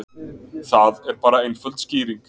Það er bara einföld skýring